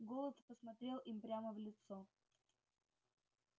голод посмотрел им прямо в лицо